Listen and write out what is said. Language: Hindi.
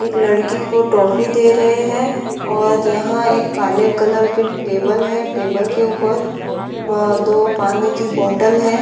एक लड़की को टॉफी दे रहे हैं और यहाँ एक काले कलर की टेबल है टेबल के ऊपर दो पानी की बोतल है।